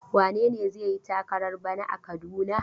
Wane ne zai yi takarar bana a Kaduna?